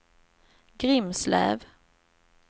Grimslöv